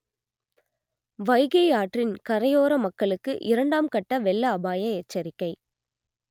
வைகை ஆற்றின் கரையோற மக்களுக்கு இரண்டாம் கட்ட வெள்ள அபாய எச்சரிக்கை